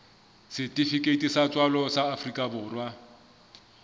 setifikeiti sa tswalo sa afrika